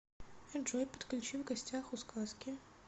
джой подключи в гостях у сказки